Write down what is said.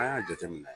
An y'a jateminɛ